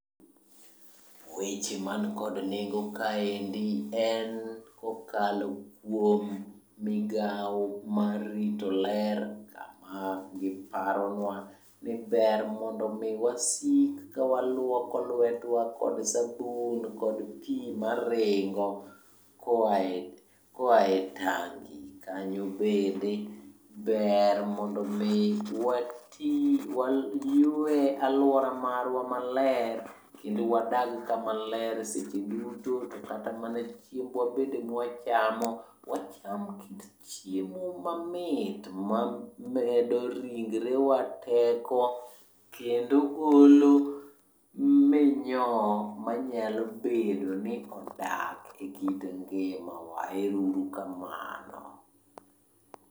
Weche man kod nengo kaendi en kokalo kuom migao mar rito ler kama giparonwa ni ber mondo mi wasik kawalwoko lwetwa kod sabun kod pi maringo koae tangi. Kanyo bende ber mondo mi wati, waywe alwora marwa maler kendo wadag kama ler seche duto. To kata mana chiembwa bende mawachamo, wacham kit chiemo mamit mamedo ringrewa teko kendo olo minyoo manyalo bedo ni odak e kind ngimawa. Ero uru kamano.